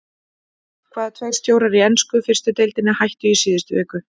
Hvaða tveir stjórar í ensku fyrstu deildinni hættu í síðustu viku?